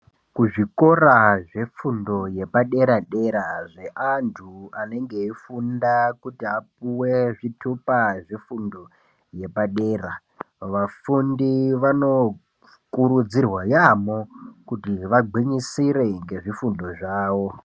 Kuzvikora zvefundo yepadera-dera zveantu anenge eifunda kuti apuwe zvitupa zvefundo yepadera, vafundi vanokurudzirwa yaamho kuti vagwinyisire ngezvifundo zvavo.